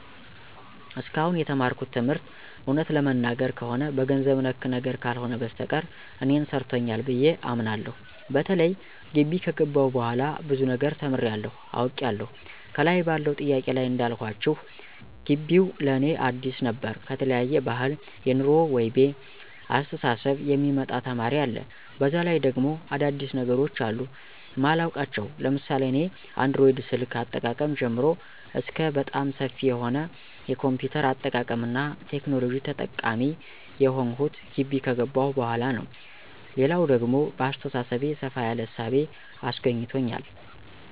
እስካሁን የተማርኩት ትምህርት እውነት ለመናገር ከሆነ በገንዘብ ነክ ነገር ካልሆነ በስተቀር እኔን ሰርቶኛል ብየ አምናለሁ። በተለይ ጊቢ ከገባሁ በኋላ ብዙ ነገር ተምሬያለሁ፤ አውቄያለሁ። ከላይ ባለው ጥያቄ ላይ እንዳልኳችሁ ጊቢው ለእኔ አዲስ ነበር ከተለያየ ባህል፣ የኑሮ ወይቤ፣ አስተሳሰብ የሚመጣ ተማሪ አለ፤ በዛ ላይ ደግሞ አዳዲስ ነገሮች አሉ ማላውቃቸው ለምሳሌ እኔ አንድሮይድ ስልክ አጠቃቀም ጀምሮ እስከ በጣም ሰፊ የሆነ የ ኮምፒውተር አጠቃቀምና ቴክኖሎጂ ተጠቃሚ የሆንሁት ጊቢ ከገባሁ በኋላ ነው። ሌላው ደግሞ በአሰተሳሰቤ ሰፋ ያለ እሳቤ አስገኝቶኛል።